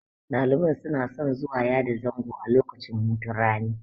Ɗaliban suna son zuwa yada zango a lokacin hutun rani.